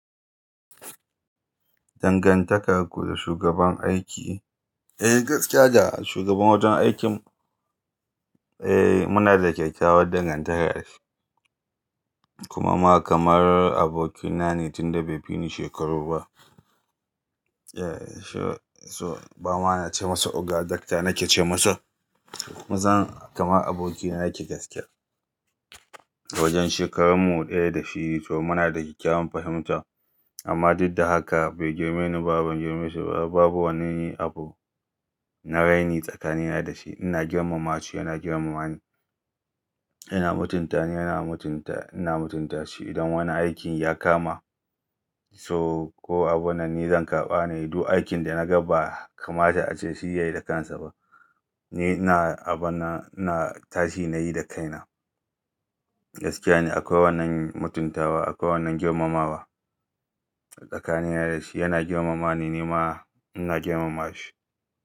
Dangantakar ku da shugaban aiki, eh gaskiya da shugaban wajen aikin eh muna da kyakkyawar dangantaka da shi. Kuma ma kamar abokina ne tunda bai fi ni shekaru ba. Eh so, ba ma na ce masa Oga Doctor nake ce masa, ku san kamar abokina yake gaskiya. Wajen shekarun mu ɗaya da shi so muna da kyakkyawan fahimta amma duk da haka bai girmine ni ba, ban girmu shi ba. Babu wani abu na raini tsakanina da shi. Ina girmama shi, yana girmama ni. Ina mutunta ni, yana mutunta, ina mutunta shi. Idan wani aikin ya kama so ko abun nan ni zan karɓa nayi du aikin da na ga ba kamata ace shi yayi da kansa ba. Eh ina aban nan, ina tashi nayi da kaina. Gaskiya ne akwai wannan mutuntawa, akwai wannan girmamawa tsakanina da shi. Yana girmama ni, ni ma ina girmama shi.